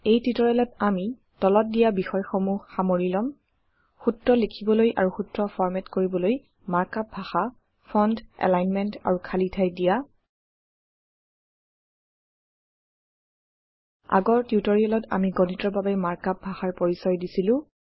এই টিউটৰিয়েলত আমি তলত দিয়া বিষয়্সমূহ সামৰি লম সূত্ৰ লিখিবলৈ আৰু সূত্ৰ ফৰ্মেট কৰিবলৈ মাৰ্ক আপ ভাষা ফন্ট এলাইনমেন্ট আৰু খালী ঠাই দিয়া160 আগৰ টিউটৰিয়েলত আমি গণিতৰ বাবে মাৰ্ক আপ ভাষাৰ পৰিচয় দিছিলো